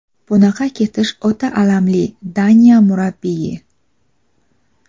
bunaqa ketish o‘ta alamli — Daniya murabbiyi.